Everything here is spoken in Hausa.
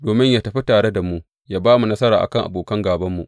Domin yă tafi tare da mu yă ba mu nasara kan abokan gābanmu.